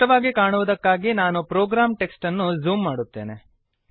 ಸ್ಪಷ್ಟವಾಗಿ ಕಾಣುವುದಕ್ಕಾಗಿ ನಾನು ಪ್ರೋಗ್ರಾಮ್ ಟೆಕ್ಸ್ಟ್ ಅನ್ನು ಝೂಮ್ ಮಾಡುತ್ತೇನೆ